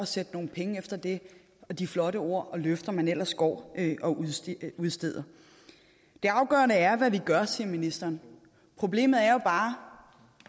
sende nogle penge med det og de flotte ord og løfter man ellers går og udsteder det afgørende er hvad vi gør siger ministeren problemet er jo bare